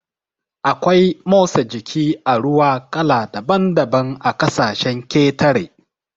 Akwai motsa jiki a ruwa kala daban daban a ƙasashen ƙetare